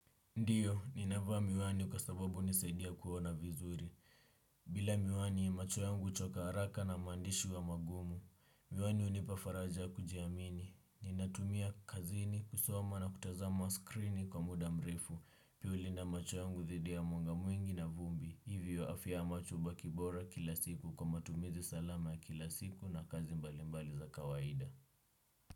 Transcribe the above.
Ndiyo, ninavaa miwani kwa sababu unisaidia kuona vizuri. Bila miwani, macho yangu uchoka haraka na maandishi huwa magumu. Miwani unipa faraja ya kujiamini. Ninatumia kazini, kusoma na kutazama skrini kwa muda mrefu. Pia hulinda macho yangu dhidi ya mwanga mwingi na vumbi. Hivyo afya ya macho hubaki bora kila siku kwa matumizi salama ya kila siku na kazi mbalimbali za kawaida.